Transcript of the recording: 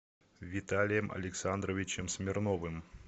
виталием александровичем смирновым